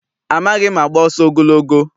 Amaghị m agba ọsọ ogologo.